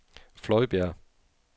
Fløjbjerg